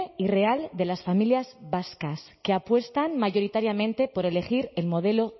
y real de las familias vascas que apuestan mayoritariamente por elegir el modelo